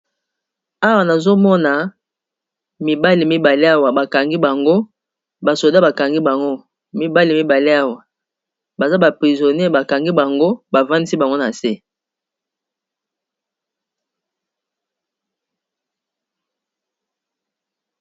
Awa namoni balakisi biso mibali mibale bakangi bango namoni basolda bakangi ba mibale oyo eza neti baza ba miibi